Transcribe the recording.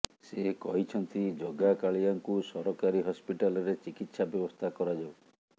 ସେ କହିଛନ୍ତି ଜଗା କାଳିଆଙ୍କୁ ସରକାରୀ ହସ୍ପିଟାଲରେ ଚିକିତ୍ସା ବ୍ୟବସ୍ଥା କରାଯାଉ